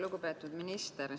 Lugupeetud minister!